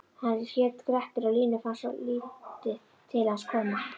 Hann hét Grettir og Línu fannst lítið til hans koma: